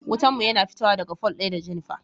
Wutan mu yana fitowa daga fol ɗaya da Jenifer.